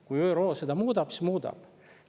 Kui ÜRO seda muudab, siis muudab.